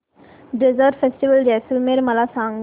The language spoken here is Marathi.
डेजर्ट फेस्टिवल जैसलमेर मला सांग